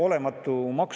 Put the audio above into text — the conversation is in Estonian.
Aitäh, austatud juhataja!